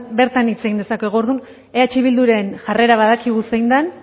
bertan hitz egin dezakegu orduan eh bilduren jarrera badakigu zein den